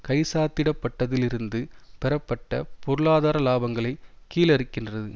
கைச்சாத்திடப்பட்டதிலிருந்து பெறப்பட்ட பொருளாதார இலாபங்களை கீழறுக்கின்றது